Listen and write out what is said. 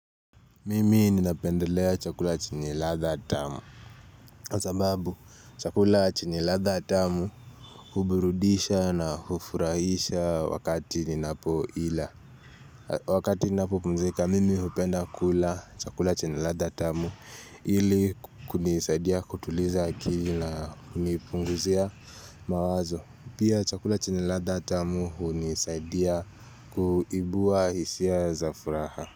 Mimi ninapendelea chakula chenye radha tamu kwa sababu chakula chenye radha tamu huburudisha na hufurahisha wakati ninapo ila Wakati ninapopunzika mimi hupenda kula chakula chenye radha tamu ili kunisaidia kutuliza kili na kunipunguzia mawazo Pia chakula chenye radha tamu hunisaidia kuibua hisia za furaha.